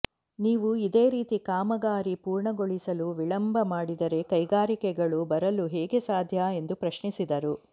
ನೀವು ಇದೇ ರೀತಿ ಕಾಮಗಾರಿ ಪೂರ್ಣಗೊಳಿಸಲು ವಿಳಂಬ ಮಾಡಿದರೆ ಕೈಗಾರಿಕೆಗಳು ಬರಲು ಹೇಗೆ ಸಾಧ್ಯ ಎಂದು ಪ್ರಶ್ನಿಸಿದರು